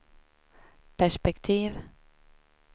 perspektiv